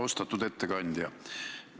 Austatud ettekandja!